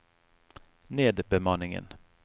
nedbemanningen